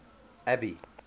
abby